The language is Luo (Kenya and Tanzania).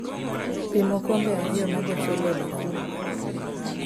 Pim okombe ariyo mag ochele e bakul